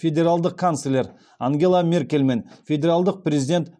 федералдық канцлер ангела меркельмен федералдық президент